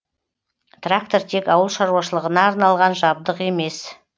трактор тек ауыл шаруашылығына арналған жабдық емес